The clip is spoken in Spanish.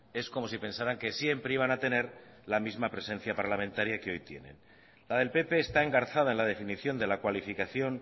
es como si pensaran que siempre iban a tener la misma presencia parlamentaria que hoy tienen la del pp está engarzada en la definición de la cualificación